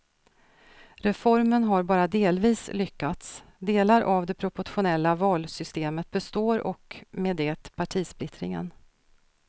Reformen har bara delvis lyckats, delar av det proportionella valsystemet består och med det partisplittringen.